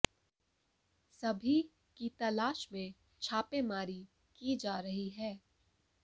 सभी की तलाश में छापेमारी की जा रही है